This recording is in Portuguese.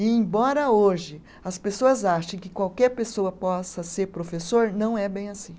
E, embora hoje as pessoas achem que qualquer pessoa possa ser professor, não é bem assim.